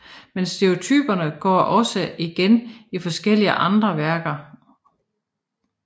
Men stereotyperne går også igen i forskellige andre værker